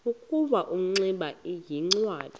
ukuba ingximba yincwadi